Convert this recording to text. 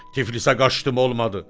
Tiflisə qaçdım olmadı.